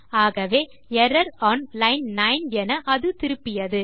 ஆகவே error one line 9 என அது திருப்பியது